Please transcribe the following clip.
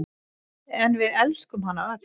En við elskuðum hana öll.